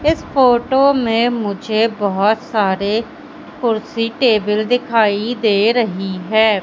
इस फोटो में मुझे बहुत सारे कुर्सी टेबल दिखाई दे रही है।